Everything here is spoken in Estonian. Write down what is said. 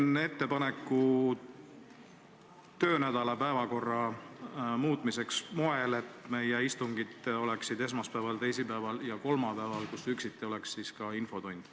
Teen ettepaneku muuta selle töönädala päevakorda nii, et meie istungid oleksid esmaspäeval, teisipäeval ja kolmapäeval, kus üksiti oleks ka infotund.